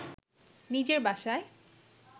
নিজের বাসায়